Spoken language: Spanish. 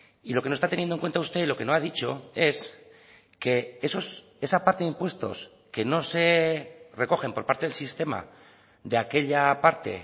y lo que no está teniendo en cuenta usted lo que no ha dicho es que esa parte de impuestos que no se recogen por parte del sistema de aquella parte